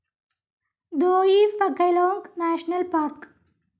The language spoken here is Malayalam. ദോയി ഫാ ഖലോംഗ് നാഷണൽ പാർക്ക്‌